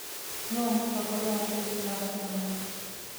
Nũũ mũtongoria wa bũrũri wa kenya?